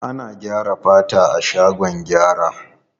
Ana gyara fata a shagon gyara.